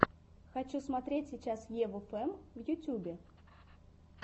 хочу смотреть сейчас еву фэм в ютьюбе